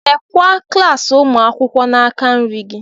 Lekwa klaasị ụmụ akwụkwọ n'aka nri gị.